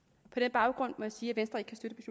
baggrund må jeg sige